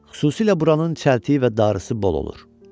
Xüsusilə buranın çəltiyi və darısı bol olur.